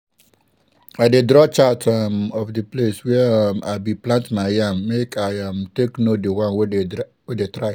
i dey draw chart um of di place where um i bin plant my yam make i um take know di one wey dey try.